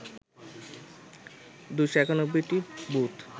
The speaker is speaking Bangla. ২৯১টি বুথ